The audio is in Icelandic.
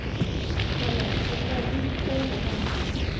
Fjalar, bókaðu hring í golf á mánudaginn.